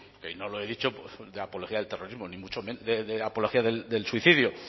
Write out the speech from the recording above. y no lo he dicho de apología del terrorismo ni mucho menos de apología del suicidio